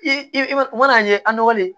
I i ma na ɲɛ an nɔgɔlen